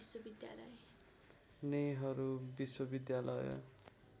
नेहरू विश्वविद्यालय